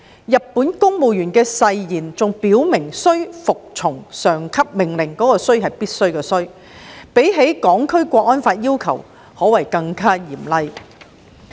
日本公務員的誓言還表明須服從上級命令——是"必須"的"須"——較《香港國安法》的要求更加嚴厲。